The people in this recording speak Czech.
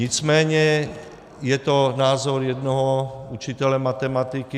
Nicméně je to názor jednoho učitele matematiky.